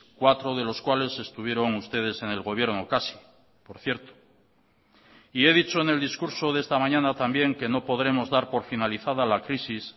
cuatro de los cuales estuvieron ustedes en el gobierno casi por cierto y he dicho en el discurso de esta mañana también que no podremos dar por finalizada la crisis